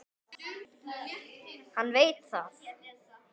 Hann veit það.